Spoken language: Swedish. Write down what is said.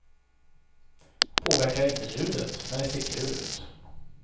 Påverkar inte ljudet, men det ser kul ut.